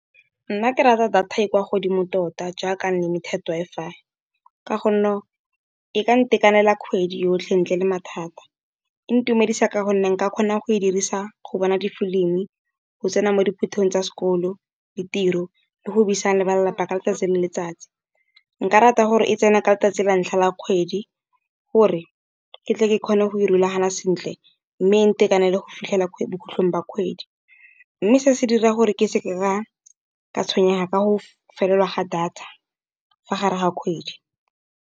Nna ke rata data e kwa godimo tota jaaka unlimited Wi-Fi, ka gonne go e ka ntekanela kgwedi yotlhe, ntle le mathata. E ntumedisa ka gonne nka kgona go e dirisa go bona di-film-i, go tsena mo dithutong tsa sekolo, le tiro le go buisana le ba lelapa ka letsatsi le letsatsi. Nka rata gore e tsene ka letsatsi la ntlha la kgwedi, gore ke tle ke kgone go rulagana sentle mme e ntekanele go fitlhela bokhutlhong ba kgwedi. Mme se se dira gore ke seke ka ka tshwenyega ka go felelwa ga data fa gare ga kgwedi.